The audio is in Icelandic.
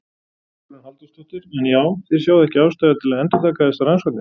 Hugrún Halldórsdóttir: En já þið sjáið ekki ástæðu til að endurtaka þessar rannsóknir?